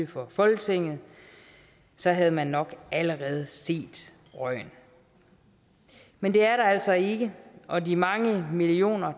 for folketinget så havde man nok allerede set røgen men det er der altså ikke og de mange millioner